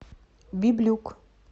библюк